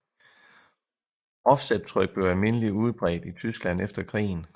Offsettryk blev almindelig udbredt i Tyskland efter krigen